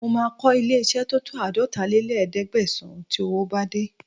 Mo máa kọ́ ilé-iṣẹ́ tó tó àádọ́talé-léẹ̀ẹ́dẹ́gbẹ̀sán tí owó bá dé